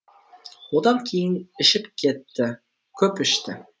одан кейін ішіп кетті көп ішті